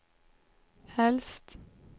helst